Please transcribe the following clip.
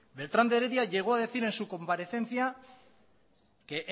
beltrán de heredia llegó a decir en su comparecencia que